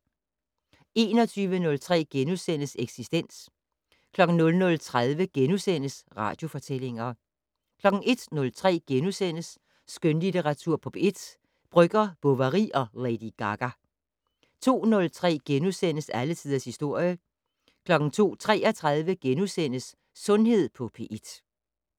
21:03: Eksistens * 00:30: Radiofortællinger * 01:03: Skønlitteratur på P1 - Brøgger, Bovary og Lady Gaga * 02:03: Alle tiders historie * 02:33: Sundhed på P1 *